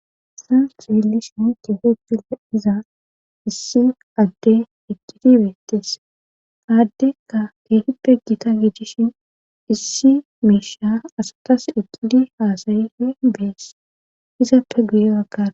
Saan eelishin keehugie iza issi adde eqqidi beettes aaddekka keehippe gita gijishin issi meesha asatas eqidi haasayife bees izaappe guye waggara